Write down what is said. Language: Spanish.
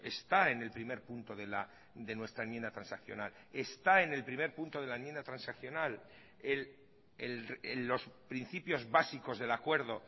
está en el primer punto de nuestra enmienda transaccional está en el primer punto de la enmienda transaccional en los principios básicos del acuerdo